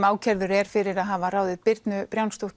ákærður er fyrir að hafa ráðið Birnu